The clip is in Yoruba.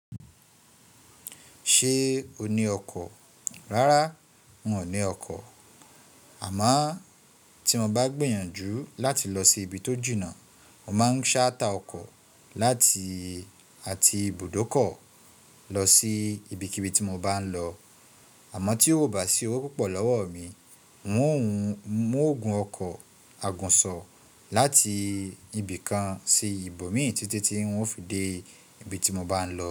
Ṣé o ní ọkọ̀? Rárá, n ò ní ọkọ̀. À mo tí mo bá gbìyànjú láti lọ sí ibi tó jìnà, mo máa ń ṣáta ọkọ̀ láti àti ibùdókọ̀ lọ sí ibikíbi tí mo bá ń lọ. À mo tí ó bá sì owó púpọ̀ lọ́wọ́ mi, n óò gun ọkọ̀ agùnsọ láti ibìkan sí ibòmíràn títí tí ń ó fi dé ibi tí mo bá ń lọ.